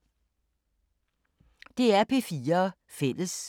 DR P4 Fælles